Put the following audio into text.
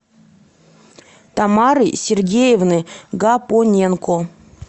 тамары сергеевны гапоненко